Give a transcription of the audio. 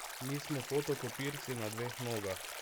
Nismo fotokopirci na dveh nogah.